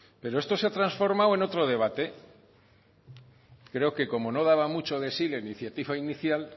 pero esto se ha transformado en otro debate creo que como no daba mucho de sí la iniciativa inicial